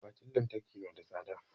Akwatin lantarki na da tsada